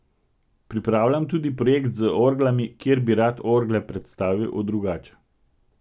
Pripravljam tudi projekt z orglami, ker bi rad orgle predstavil drugače.